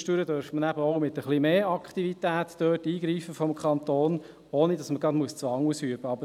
Zwischendurch dürfte man dort vom Kanton eben auch mit ein wenig mehr Aktivität eingreifen, ohne dass man gerade Zwang ausüben muss.